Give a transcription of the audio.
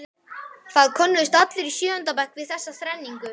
Það könnuðust allir í sjöunda bekk við þessa þrenningu.